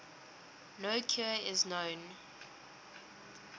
no cure is known